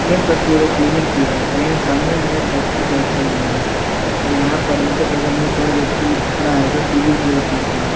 यह तस्वीर एक क्लीनिक की है और यहां सामने में एक डॉक्टर बैठे हुए हैं और यहां पर इनके बगल में एक और व्यक्ति खड़ा है जो टी_वी की ओर देख रहा है।